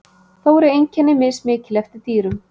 Þó eru einkenni mismikil eftir dýrum.